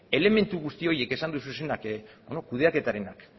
elementu guzti horiek esan dituzunak kudeaketarenak